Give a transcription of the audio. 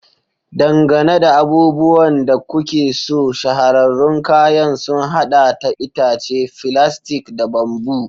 Dangane da abubuwan da kuke so, shahararrun kayan sun haɗa da itace, filastik, da bamboo.